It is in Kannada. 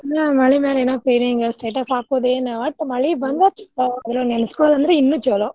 ಮಳಿಮ್ಯಾಲೆ ಎಲ್ಲಾ status ಹಾಕುದೇನ ಓಟ್ ಮಳಿ ಬಂದ್ರ್ ಅದನ್ನ ನೆನಸ್ಕೊಳುದ್ ಅಂದ್ರ ಇನ್ನು ಚುಲೊ.